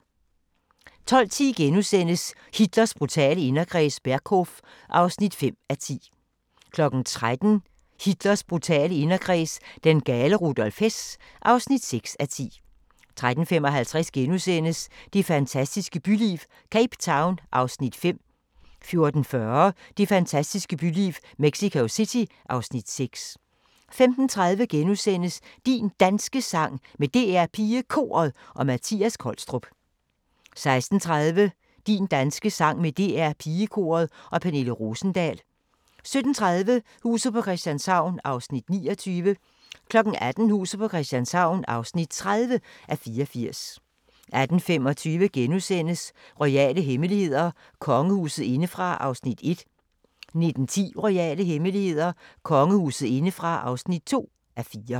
12:10: Hitlers brutale inderkreds – Berghof (5:10)* 13:00: Hitlers brutale inderkreds – den gale Rudolf Hess (6:10) 13:55: Det fantastiske byliv – Cape Town (Afs. 5)* 14:40: Det fantastiske byliv - Mexico City (Afs. 6) 15:30: Din Danske Sang med DR PigeKoret og Mattias Kolstrup * 16:30: Din danske sang med DR PigeKoret og Pernille Rosendahl 17:30: Huset på Christianshavn (29:84) 18:00: Huset på Christianshavn (30:84) 18:25: Royale hemmeligheder: Kongehuset indefra (1:4)* 19:10: Royale hemmeligheder: Kongehuset indefra (2:4)*